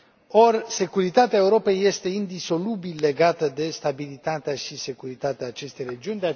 Ori securitatea Europei este indisolubil legată de stabilitatea și securitatea acestei regiuni.